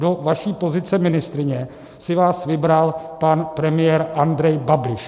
Do vaší pozice ministryně si vás vybral pan premiér Andrej Babiš.